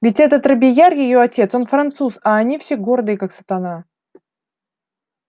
ведь этот робийяр её отец он француз а они все гордые как сатана